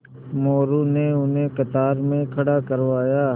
मोरू ने उन्हें कतार में खड़ा करवाया